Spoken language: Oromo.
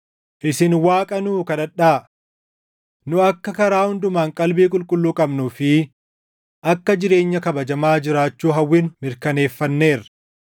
Isin Waaqa nuu kadhadhaa. Nu akka karaa hundumaan qalbii qulqulluu qabnuu fi akka jireenya kabajamaa jiraachuu hawwinu mirkaneeffanneerra.